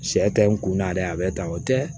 Sɛ ka n kun na dɛ a bɛ tan o tɛ